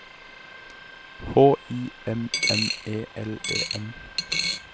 H I M M E L E N